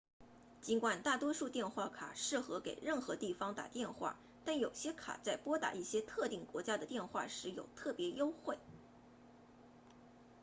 尽管大多数电话卡适合给任何地方打电话但有些卡在拨打一些特定国家的电话时有特别优惠